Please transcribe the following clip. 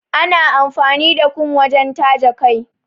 Ana amfani da kum wajen taje kai.